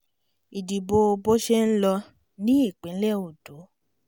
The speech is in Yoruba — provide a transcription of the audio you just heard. ìdíbò bó ṣe ń lọ ní ìpínlẹ̀ ondo